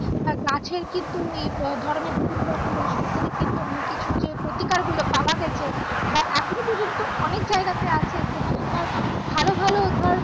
আর গাছের কিন্তু এই ধরনের বিভিন্ন রকমের ঔষধ থেকে কিন্তু অনেক কিছু যে প্রতিকার গুলো পাওয়া গেছে বা এখনো পর্যন্ত অনেক জায়গাতে আছে যেখানে ধর ভালো ভালো ধর